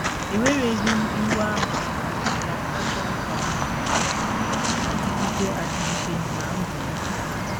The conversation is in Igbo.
Ewereghị m ịwa ahụ a dị ka ajọ nkwarụ na - adịgide adịgide ná ndụ m.